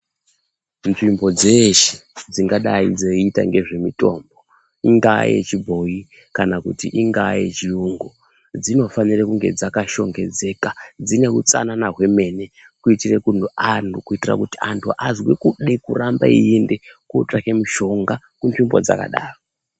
Nzvimbo dzeshe dzingadai dzeiita ngezvemitombo ingaa yechibhoi kana kuti ingaa yechiyungu. Dzinofanire kunge dzakashongedzeka dzine utsanana hwemene. Kuti antu azwe kude kuramba eiende kotsvake mushonga kunzvimbo dzakadaro.